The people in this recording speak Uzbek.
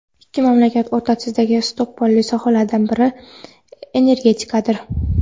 Ikki mamlakat o‘rtasidagi istiqbolli sohalaridan biri energetikadir.